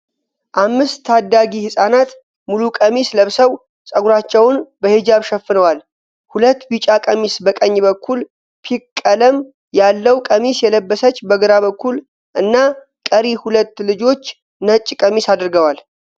አምስት ታዳጊ ህፃናት ሙሉ ቀሚስ ለብሰዉ ፀጉራቸዉን በሂጃብ ሸፍነዋል። ሁለት ቢጫ ቀሚስ በቀኝ በኩል ፣ፒክ ቀለም ያለዉ ቀሚስ የለበሰች በግራ በኩል እና ቀሪ ሁለት ልጆች ነጭ ቀሚስ አድርገዋል።